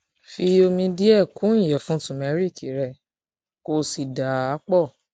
fi omi díẹ kún iyẹfun turmeric rẹ kó o sì dà á pọ